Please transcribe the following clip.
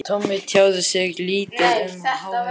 Tommi tjáði sig lítið um áhuga